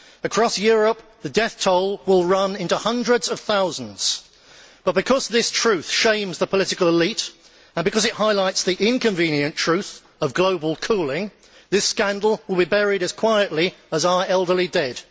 Across Europe, the death toll will run into hundreds of thousands, but, because this truth shames the political elite and because it highlights the inconvenient truth of global cooling, this scandal will be buried as quietly as are our elderly dead.